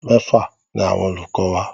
Mẹ́fà ni àwọn olùkọ wa.